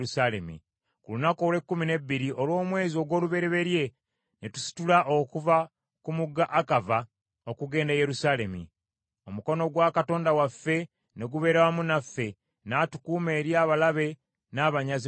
Ku lunaku olw’ekkumi n’ebbiri olw’omwezi ogw’olubereberye ne tusitula okuva ku mugga Akava okugenda e Yerusaalemi. Omukono gwa Katonda waffe ne gubeera wamu naffe, n’atukuuma eri abalabe n’abanyazi mu kkubo.